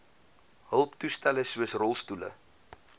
hulptoestelle soos rolstoele